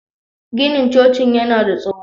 Ginin cocin yana da tsaho